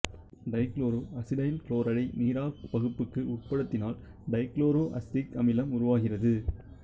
dichloro acetyl குளோரைடை நீராற்பகுப்புக்கு உட்படுத்தினால் டைகுளோரோ அசிட்டிக் அமிலம் உருவாகிறது